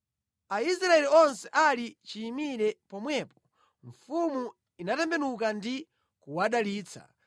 Aisraeli onse ali chiyimire pomwepo, mfumu inatembenuka ndi kuwadalitsa.